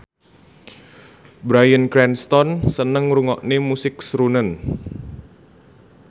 Bryan Cranston seneng ngrungokne musik srunen